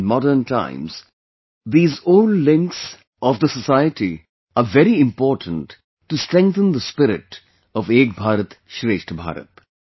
In modern times, these old links of the society are very important to strengthen the spirit of 'Ek Bharat Shreshtha Bharat'